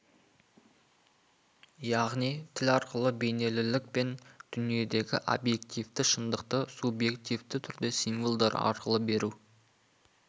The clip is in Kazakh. яғни тіл арқылы бейнелілік пен дүниедегі объективті шындықты субъективті түрде символдар арқылы беру